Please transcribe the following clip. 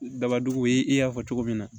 Daba dugu ye i y'a fɔ cogo min na